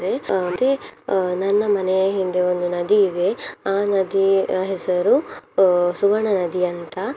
ಅಹ್ ಮತ್ತೆ ಅಹ್ ನನ್ನ ಮನೆಯ ಹಿಂದೆ ಒಂದು ನದಿ ಇದೆ ಆ ನದಿ ಅಹ್ ಹೆಸರು ಅಹ್ ಸುವರ್ಣ ನದಿ ಅಂತ.